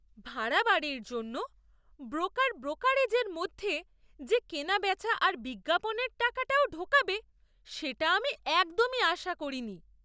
ভাড়া বাড়ির জন্য ব্রোকার ব্রোকারেজের মধ্যে যে কেনাবেচা আর বিজ্ঞাপনের টাকাটাও ঢোকাবে সেটা আমি একদমই আশা করিনি!